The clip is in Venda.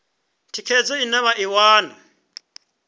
thikhedzo ine vha i wana